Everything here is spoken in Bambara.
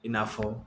I n'a fɔ